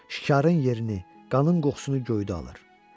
Şikarın yerini, qanın qoxusunu göydə alır.